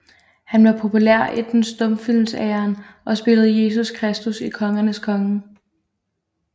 Han var populær i den stumfilmsæraen og spillede Jesus Kristus i Kongernes Konge